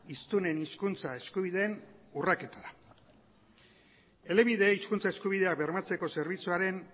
hiztunen hizkuntza eskubideen urraketara elebideren hizkuntza eskubidea bermatzeko zerbitzuaren